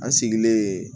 An sigilen